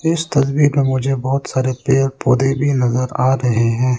इस तस्वीर में मुझे बहुत सारे पेड़ पौधे भी नजर आ रहे हैं।